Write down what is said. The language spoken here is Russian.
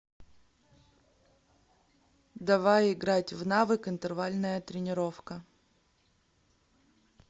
давай играть в навык интервальная тренировка